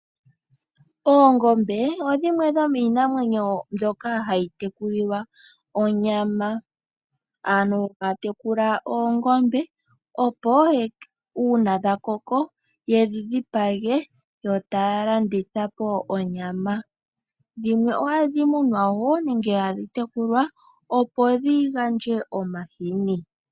Oongombe odho dhimwe dhomiinamwenyo mbyoka hayi tekulilwa onyama, aantu taya tekula oongombe opo uuna dha koko yedhi dhipage yo taya landitha po onyama. Dhimwe ohadhi munwa woo nenge hadhi tekulwa opo dhigandje omahini.